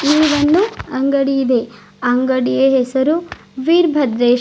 ಇಲ್ಲಿ ಒಂದು ಅಂಗಡಿ ಇದೆ ಅಂಗಡಿಯ ಹೆಸರು ವೀರ್ ಭದ್ರೇ--